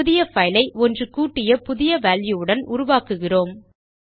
புதிய பைல் ஐ ஒன்று கூட்டிய புதிய வால்யூ உடன் உருவாக்குகிறோம்